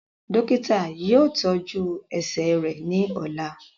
Dokita yoo tọju ẹsẹ rẹ ni ọla.